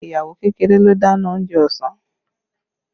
Ìyàwó kékeré ló dáná oúnjẹ ọsàn